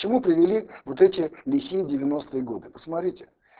к чему привели вот эти лихие девяностые годы посмотрите